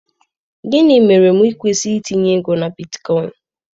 Gịnị mere m kwesịrị itinye ego na bitcoin?